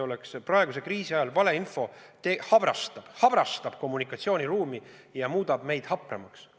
Praeguse kriisi ajal valeinfo habrastab kommunikatsiooniruumi ja muudab meid hapramaks.